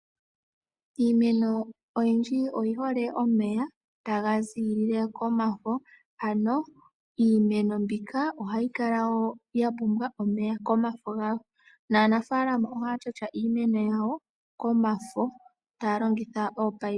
Iimeno oyindji oyi hole omeya taga ziilile komafo na iimeno mbika ohayi kala ya pumbwa omeya komafo gawo. Aanfalama ohaya shasha iimeno yawo komafo, taya longitha ominino.